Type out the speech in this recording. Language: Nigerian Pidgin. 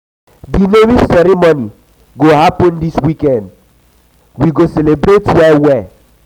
di naming ceremony go happen dis weekend weekend we go celebrate well well.